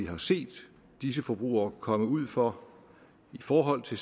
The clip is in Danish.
har set at disse forbrugere kommet ud for i forhold til